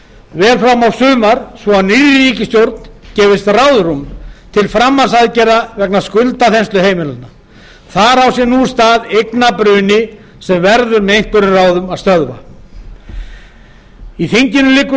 fram á sumar svo nýrri ríkisstjórn gefist ráðrúm til framhaldsaðgerða vegna skuldaþenslu heimilanna þar á sér nú stað eignabruni sem verður með einhverjum ráðum að stöðva í þinginu liggur